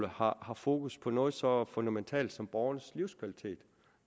har har fokus på noget så fundamentalt som borgernes livskvalitet